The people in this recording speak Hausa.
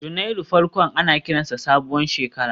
Janairu farkon ana kiransa sabuwar shekara